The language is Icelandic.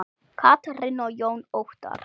Katrín og Jón Óttarr.